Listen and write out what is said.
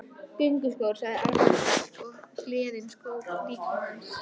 Gönguskór! sagði Arnar hvellt og gleðin skók líkama hans.